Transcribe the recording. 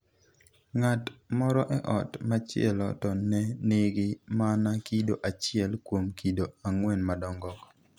Ng'at moro e ot machielo to ne nigi mana kido achiel kuom kido 4 madongo.